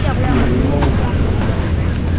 не я не могу быть толерантным